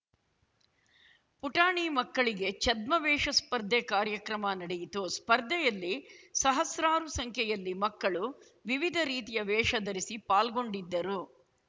ಪುಟಾಣಿ ಮಕ್ಕಳಿಗೆ ಛದ್ಮವೇಷ ಸ್ಪರ್ಧೆ ಕಾರ್ಯಕ್ರಮ ನಡೆಯಿತು ಸ್ಪರ್ಧೆಯಲ್ಲಿ ಸಹಸ್ರಾರು ಸಂಖ್ಯೆಯಲ್ಲಿ ಮಕ್ಕಳು ವಿವಿಧ ರೀತಿಯ ವೇಷ ಧರಿಸಿ ಪಾಲ್ಗೊಂಡಿದ್ದರು